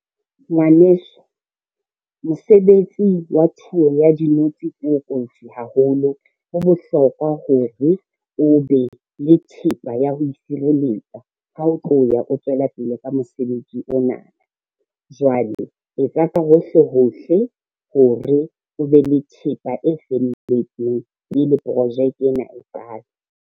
Ngwaneso, mosebetsi wa thuo ya dinotsi ko kofi haholo. Ho bohlokwa hore o be le thepa ya ho isireletsa ha o tloya, o tswela pele ka mosebetsi ona. Jwale e etsa ka hohle hohle hore o be le thepa e felletseng pele projeke ena e qale.